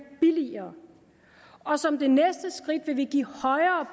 billigere som det næste skridt vil vi give